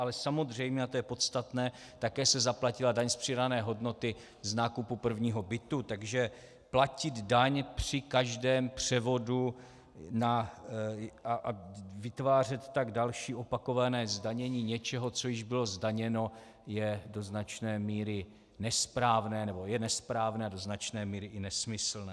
Ale samozřejmě, a to je podstatné, také se zaplatila daň z přidané hodnoty z nákupu prvního bytu, takže platit daň při každém převodu a vytvářet tak další opakované zdanění něčeho, co již bylo zdaněno, je do značné míry nesprávné, nebo je nesprávné a do značné míry i nesmyslné.